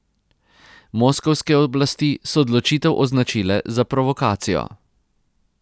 Moskovske oblasti so odločitev označile za provokacijo.